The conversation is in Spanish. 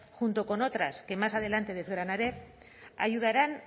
junto con otras que más adelante desgranaré ayudarán